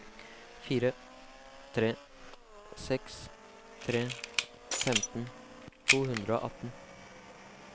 fire tre seks tre femten to hundre og atten